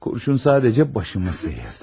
Kurşun sadəcə başımı sıyırdı.